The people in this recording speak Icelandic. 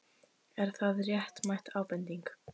Er það réttmæt ábending?